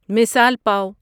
مثال پاو